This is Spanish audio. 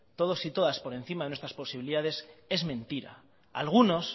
todos y todas por encima de nuestras posibilidades es mentira algunos